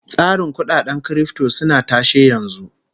Tsarin kudaden kirifto suna tashe yanzu